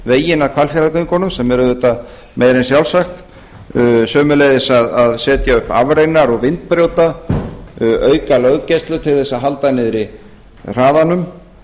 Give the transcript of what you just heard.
veginn að hvalfjarðargöngunum sem er auðvitað meira en sjálfsagt sömuleiðis að setja upp afreinar og vindbrjóta auka löggæslu til að halda niðri hraðanum